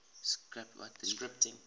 scripting languages